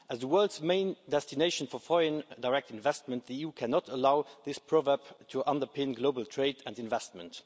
As the world's main destination for foreign direct investment, the EU cannot allow this proverb to underpin global trade and investment.